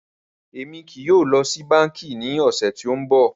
Rárá, Emi kii yóò lọ si banki ni ọsẹ ti n bọ.